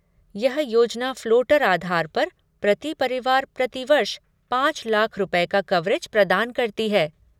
यह योजना फ़्लोटर आधार पर प्रति परिवार प्रति वर्ष पाँच लाख रुपये का कवरेज प्रदान करती है।